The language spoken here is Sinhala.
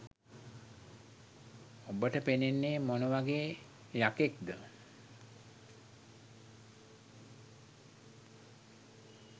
ඔබට පෙනෙන්නේ මොන වගේ යකෙක්ද